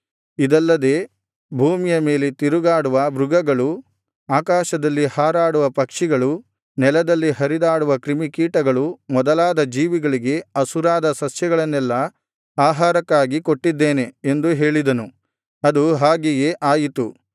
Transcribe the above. ಇದಲ್ಲದೆ ಭೂಮಿಯ ಮೇಲೆ ತಿರುಗಾಡುವ ಮೃಗಗಳು ಆಕಾಶದಲ್ಲಿ ಹಾರಾಡುವ ಪಕ್ಷಿಗಳು ನೆಲದಲ್ಲಿ ಹರಿದಾಡುವ ಕ್ರಿಮಿಕೀಟಗಳು ಮೊದಲಾದ ಜೀವಿಗಳಿಗೆ ಹಸುರಾದ ಸಸ್ಯಗಳನ್ನೆಲ್ಲಾ ಆಹಾರಕ್ಕಾಗಿ ಕೊಟ್ಟಿದ್ದೇನೆ ಎಂದು ಹೇಳಿದನು ಅದು ಹಾಗೆಯೇ ಆಯಿತು